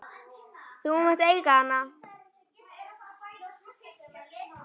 Þú mátt eiga hana!